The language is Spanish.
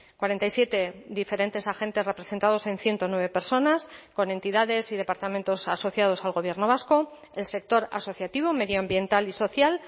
cuarenta y siete diferentes agentes representados en ciento nueve personas con entidades y departamentos asociados al gobierno vasco el sector asociativo medioambiental y social